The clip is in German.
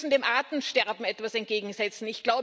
Wir müssen dem Artensterben etwas entgegensetzen.